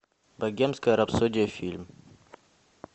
богемская рапсодия фильм